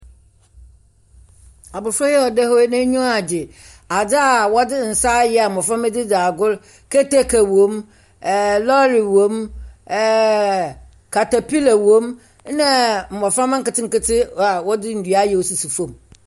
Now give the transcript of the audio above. Abɔfra yi a ɔda hɔ yi n’nyiwa adze. Adze a wɔdze yɛn nsa ayɛ a mmɔframma de dzi agoru, kete wom, ɛɛ lorry wom, ɛɛɛɛ katapila wɔm ɛna mmɔframma nketenkete a wɔdze dua ayɛ a ɔsisi fam.